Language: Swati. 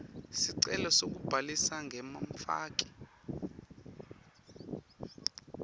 sicelo sekubhalisa njengemfaki